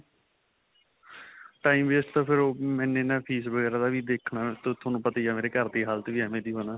time waste ਤਾਂ ਫਿਰ ਓਹ ਮੈਨੇ ਨਾ ਫੀਸ ਵਗੈਰਾ ਦਾ ਵੀ ਦੇਖਣਾ ਤੁਹਾਨੂੰ ਪਤਾ ਮੇਰੇ ਘਰਦੀ ਹਾਲਤ ਵੀ ਐਂਵੇਂ ਦਿਓ ਹੈ ਨਾ.